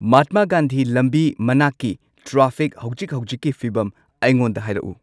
ꯃꯍꯥꯠꯃ ꯒꯥꯟꯙꯤ ꯂꯝꯕꯤ ꯃꯅꯥꯛꯀꯤ ꯇ꯭ꯔꯥꯐꯤꯛ ꯍꯧꯖꯤꯛ ꯍꯧꯖꯤꯛꯀꯤ ꯐꯤꯚꯝ ꯑꯩꯉꯣꯟꯗ ꯍꯥꯏꯔꯛꯎ